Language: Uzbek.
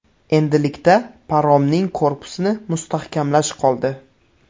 Endilikda paromning korpusini mustahkamlash qoldi.